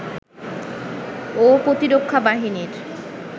ও প্রতিরক্ষা বাহিনীর